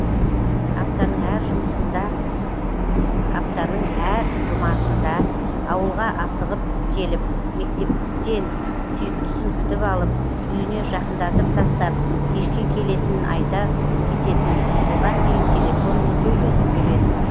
аптаның әр жұмасында ауылға асығып келіп мектептен сүйіктісін күтіп алып үйіне жақындатып тастап кешке келетінін айта кететін оған дейін телефонмен сөйлесіп жүретін